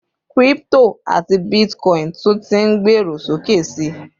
crypto ati Bitcoin tun tí n gbero sókè sí